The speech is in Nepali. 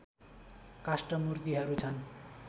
काष्ठ मूर्तिहरू छन्